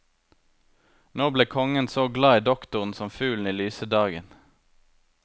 Nå ble kongen så glad i doktoren som fuglen i lyse dagen.